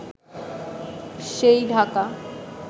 সেই ঢাকা